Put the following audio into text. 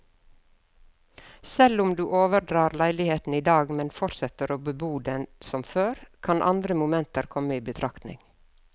Selv om du overdrar leiligheten i dag, men fortsetter å bebo denne som før, kan andre momenter komme i betraktning.